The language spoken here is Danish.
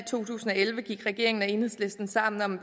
to tusind og elleve gik regeringen og enhedslisten sammen om